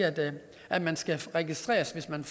at man skal registreres hvis man